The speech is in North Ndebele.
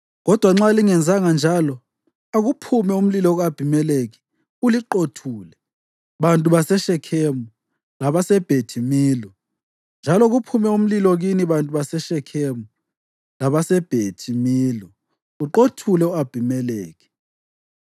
Kodwa nxa lingenzanga njalo, akuphume umlilo ku-Abhimelekhi uliqothule, bantu baseShekhemu labaseBhethi Milo, njalo kuphume umlilo kini bantu baseShekhemu labaseBhethi Milo, uqothule u-Abhimelekhi!”